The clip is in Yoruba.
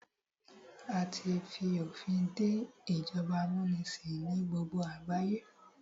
A tí fi òfin dé ìjọba amúnisìn ní gbogbo àgbáyé.